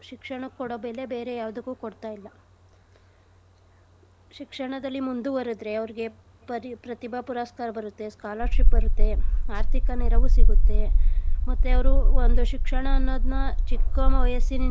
ಶಿಕ್ಷಣಕ್ ಕೊಡೋ ಬೆಲೆ ಬೇರೆ ಯಾವ್ದಕ್ಕು ಕೊಡ್ತಾ ಇಲ್ಲ . ಶಿಕ್ಷಣದಲ್ಲಿ ಮುಂದುವರ್ದ್ರೆ ಅವ್ರ್ಗೆ ಪರಿ~ ಪ್ರತಿಭಾ ಪುರಸ್ಕಾರ ಬರತ್ತೆ, scholarship ಬರತ್ತೆ. ಆರ್ಥಿಕ ನೆರೆವೂ ಸಿಗತ್ತೆ ಮತ್ತೆ ಅವ್ರು ಒಂದು ಶಿಕ್ಷಣ ಅನ್ನೋದ್ನ ಚಿಕ್ಕ ವಯಸ್ಸಿನಿಂದ.